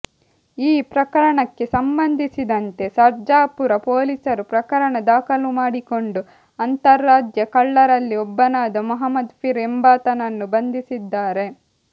ಈ ಪ್ರಕರಣಕ್ಕೆ ಸಂಬಂಧಿಸಿದಂತೆ ಸರ್ಜಾಪುರ ಪೊಲೀಸರು ಪ್ರಕರಣ ದಾಖಲು ಮಾಡಿಕೊಂಡು ಅಂತರಾಜ್ಯ ಕಳ್ಳರಲ್ಲಿ ಒಬ್ಬನಾದ ಮೊಹಮ್ಮದ್ ಫೀರ್ ಎಂಬಾತನನ್ನು ಬಂಧಿಸಿದ್ದಾರೆ